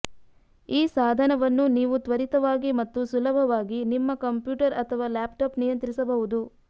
ಈ ಸಾಧನವನ್ನು ನೀವು ತ್ವರಿತವಾಗಿ ಮತ್ತು ಸುಲಭವಾಗಿ ನಿಮ್ಮ ಕಂಪ್ಯೂಟರ್ ಅಥವಾ ಲ್ಯಾಪ್ಟಾಪ್ ನಿಯಂತ್ರಿಸಬಹುದು